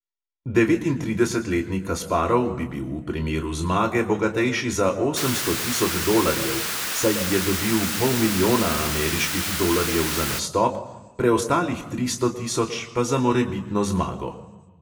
Devetintridesetletni kasparov bi bil v primeru zmage bogatejši za osemsto tisoč dolarjev, saj je dobil pol milijona ameriških dolarjev za nastop, preostalih tristo tisoč pa za morebitno zmago.